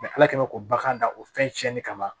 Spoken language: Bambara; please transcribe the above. ala kɛn bɛ ko bagan da o fɛn tiɲɛnen kama